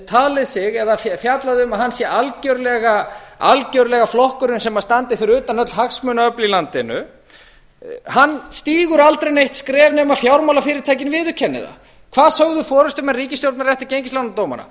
talið sig eða fjallað um að hann sé algjörlega flokkurinn sem standi fyrir utan öll hagsmunaöfl í landinu stígur aldrei neitt skref nema fjármálafyrirtækin viðurkenni það hvað sögðu forustumenn ríkisstjórnarinnar eftir gengislánadómana